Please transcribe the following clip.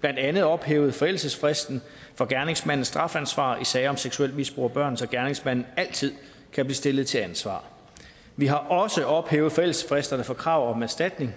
blandt andet ophævet forældelsesfristen for gerningsmandens strafansvar i sager om seksuelt misbrug af børn så gerningsmanden altid kan blive stillet til ansvar vi har også ophævet forældelsesfristerne for krav om erstatning